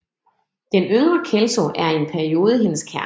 Den yngre Kelso er i en periode hendes kæreste